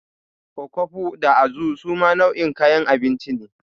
Okfo da Azu suma nau'in kayan abinci ne.